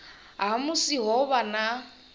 ha musi ho vha na